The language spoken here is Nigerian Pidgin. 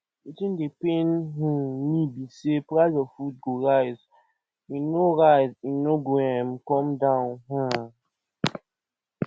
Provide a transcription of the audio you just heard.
wetin dey pain um me be sey price of food go rise e no rise e no go um come down um